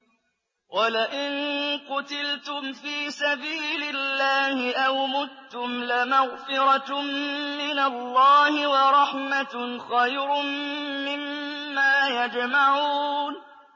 وَلَئِن قُتِلْتُمْ فِي سَبِيلِ اللَّهِ أَوْ مُتُّمْ لَمَغْفِرَةٌ مِّنَ اللَّهِ وَرَحْمَةٌ خَيْرٌ مِّمَّا يَجْمَعُونَ